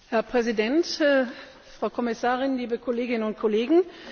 Herr Präsident, Frau Kommissarin, liebe Kolleginnen und Kollegen!